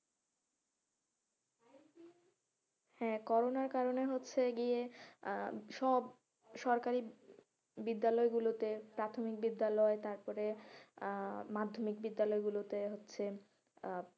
হ্যাঁ কোরোনার কারনে হচ্ছে গিয়ে আহ সব সরকারি বিদ্যালয় গুলোতে প্রাথমিক বিদ্যালয় তারপরে আহ মাধ্যমিক বিদ্যালয় গুলোতে হচ্ছে আহ